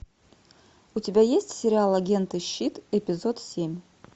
у тебя есть сериал агенты щит эпизод семь